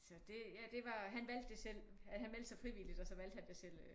Så det ja det var han valgte det selv han meldte sig frivilligt og så valgte han det selv